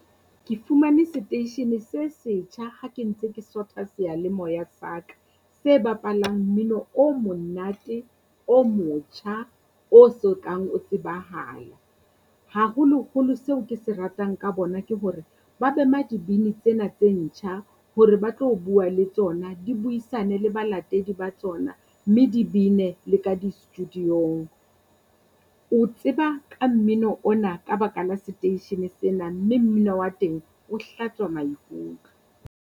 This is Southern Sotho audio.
Ke fumane seteishene se setjha hake ntse ke sotha sealemoya sa ka, se bapalang mmino o monate o motjha o so kang o tsebahala. Haholoholo seo kese ratang ka bona ke hore ba mema dibini tsena tse ntjha hore ba tlo bua le tsona di buisane le balatedi ba tsona mme di bbine le ka di-studio-ng. O tseba ka mmino ona ka baka la seteishene sena, mme mmino wa teng o hlatswa maikutlo.